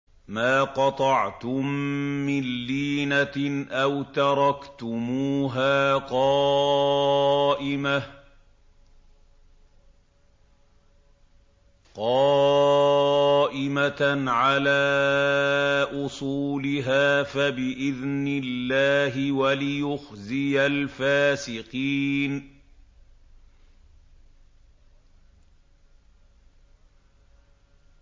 مَا قَطَعْتُم مِّن لِّينَةٍ أَوْ تَرَكْتُمُوهَا قَائِمَةً عَلَىٰ أُصُولِهَا فَبِإِذْنِ اللَّهِ وَلِيُخْزِيَ الْفَاسِقِينَ